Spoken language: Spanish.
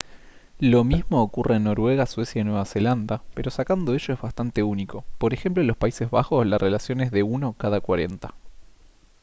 lo mismo ocurre en noruega suecia y nueva zelanda pero sacando ello es bastante único p. ej. en los países bajos la relación es de uno cada cuarenta